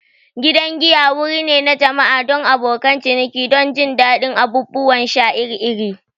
Gidan giya wuri ne na jama'a don abokan ciniki don jin daɗin abubuwan sha iri-iri.